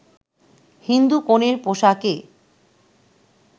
হিন্দু কনের পোশাকে